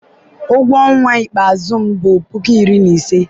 ụgwọ ọnwa ikpeazụ m bụ puku iri na ise